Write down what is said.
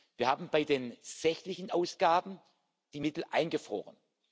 Wir haben bei den Sachausgaben die Mittel eingefroren.